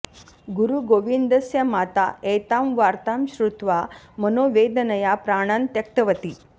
गुरुगोविन्दस्य माता एतां वार्तां श्रुत्वा मनोवेदनया प्राणान् त्यक्तवती